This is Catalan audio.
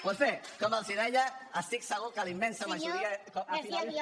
doncs bé com els deia estic segur que la immensa majoria